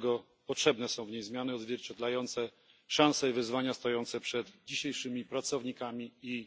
Dlatego potrzebne są w niej zmiany odzwierciedlające szanse i wyzwania stojące przed dzisiejszymi pracownikami i